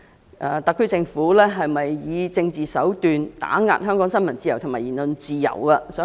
各界對特區政府有否以政治手段打壓香港新聞自由和言論自由表示憂慮。